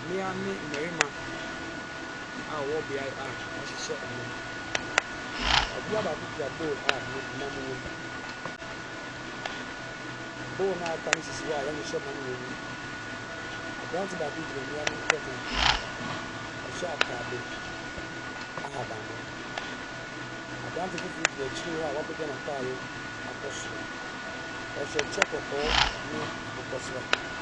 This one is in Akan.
Mmia ne mmarima a ɔwɔ beaeɛ a wahyehyɛ nnam. Ɔbia baako kura bowl a ɛnam wo mu. Bowl naa aka no sisi hɔ a yɛahyehyɛ nam wɔ mu. Abranteɛ baako gyina mmia ne ntɛm a ɔhyɛ ataade ahaban mono. Abrante foforɔ gyina akyiri hɔ a wapegya nataade akɔ soro. Ɔhyɛ kyɛ kɔkɔɔ ne akokɔ srade.